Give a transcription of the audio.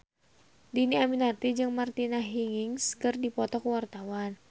Dhini Aminarti jeung Martina Hingis keur dipoto ku wartawan